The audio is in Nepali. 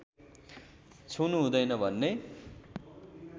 छुनु हुँदैन भन्ने